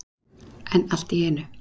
En allt í einu.